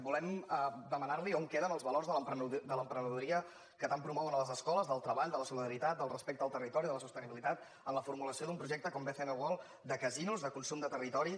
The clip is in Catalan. volem demanar·li on queden els valors de l’emprene·doria que tant promouen a les escoles del treball de la solidaritat del respecte al territori de la sostenibi·litat en la formulació d’un projecte com bcn world de casinos de consum de territori